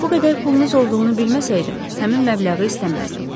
Bu qədər pulunuz olduğunu bilməsəydim, həmin məbləği istəməzdim.